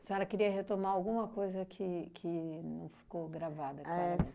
A senhora queria retomar alguma coisa que que não ficou gravada. Éh